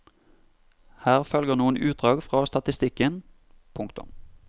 Her følger noen utdrag fra statistikken. punktum